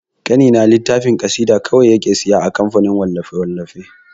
Ƙanina littafin ƙasida kaɗe yake siya a kamfanin wallafe-wallafe.